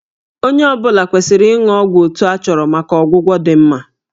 Onye ọ bụla kwesịrị ịṅụ ọgwụ otu a chọrọ maka ọgwụgwọ dị mma